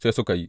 Sai suka yi.